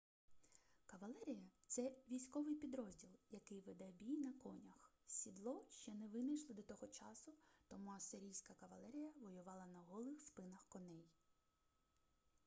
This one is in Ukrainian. кавалерія це військовий підрозділ який веде бій на конях сідло ще не винайшли до того часу тому ассирійська кавалерія воювала на голих спинах коней